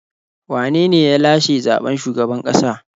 Wane ne ya lashe zaɓen shugaban ƙasa?